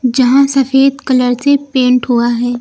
यहां सफेद कलर से पेंट हुआ है।